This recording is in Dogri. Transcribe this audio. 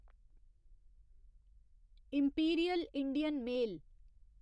imperial Indian mail